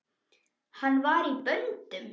Hann var í böndum.